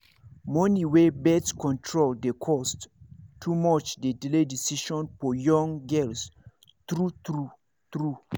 money wey birth control dey cost too much dey delay decision for young girls true true true